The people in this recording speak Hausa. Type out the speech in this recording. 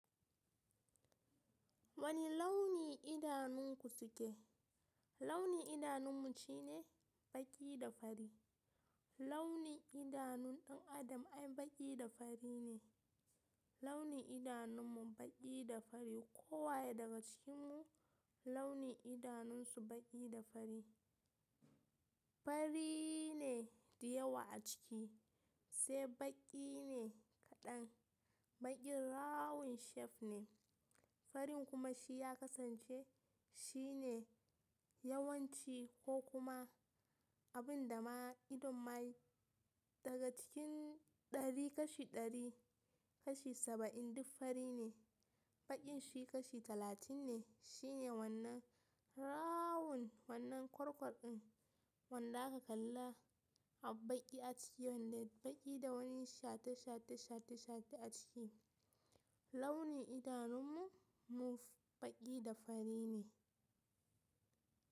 Wani launi idanunku suke? Launi idanun mu shine baƙi da fari. Launi idanun ɗan adam ai baƙi da fari ne. Launi idanun mu baƙi da fari. Kowa daga cikin mu launin idanun su baƙi da fari. Fari ne diyawa a ciki, sai baƙi ne kaɗan. Baƙin rawan chef ne, farin kuma shi ya kasance shine yawanci ko kuma abin da ma idon mai. Daga cikin ɗari kashi ɗari kashi saba'in duk fari ne, baƙin shi kashi talatin ne. Shine wannan rawun wannan kwarkwar ɗin wanda aka kalla a baƙi a ciki wanda baƙi da wani shate shate shate shate a ciki. Launi idanun mu, mu baƙi da fari ne.